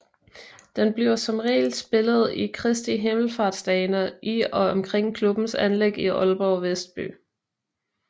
Den bliver som regel spillet i Kristi Himmelsfartsdagene i og omkring klubbens anlæg i Aalborg Vestby